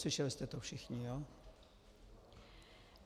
Slyšeli jste to všichni, jo?